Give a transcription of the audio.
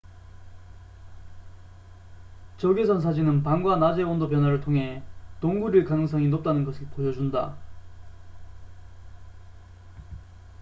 적외선 사진은 밤과 낮의 온도 변화를 통해 동굴일 가능성이 높다는 것을 보여준다